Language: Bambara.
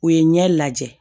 U ye ɲɛ lajɛ